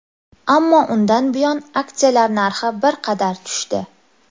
Ammo undan buyon aksiyalar narxi bir qadar tushdi.